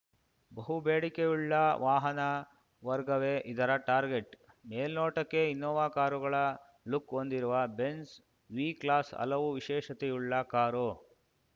ಬಹು ಬೇಡಿಕೆಯುಳ್ಳ ವಾಹನ ವರ್ಗವೇ ಇದರ ಟಾರ್ಗೆಟ್‌ ಮೇಲ್ನೋಟಕ್ಕೆ ಇನ್ನೋವಾ ಕಾರುಗಳ ಲುಕ್‌ ಹೊಂದಿರುವ ಬೆಂಝ್‌ ವಿ ಕ್ಲಾಸ್‌ ಹಲವು ವಿಶೇಷತೆಯುಳ್ಳ ಕಾರು